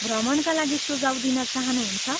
भ्रमणका लागि सुझाउ दिन चाहनुहुन्छ?